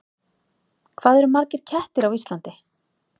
Hvað eru margir kettir á Íslandi?